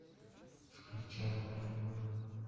включай моя любовь